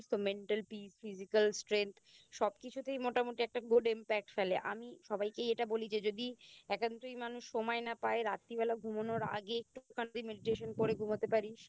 Mental peace Physical strength সব কিছুতেই মোটামোটি একটা Good impact ফেলে আমি সবাইকেই এটা বলি যে যদি একান্তই মানুষ সময় না পায় রাত্তির বেলা ঘুমোনোর আগে যদি একটুখানি Medication করে ঘুমোতে পারিস